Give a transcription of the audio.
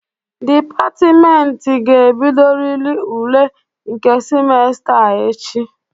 Dịpatịmentị ga-ebidoriri ule nke simesta a echi.